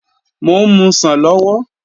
Mò ń musàn lọ́wọ́